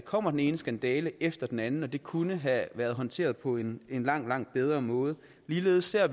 kommer den ene skandale efter den anden og hvor det kunne have været håndteret på en langt langt bedre måde ligeledes ser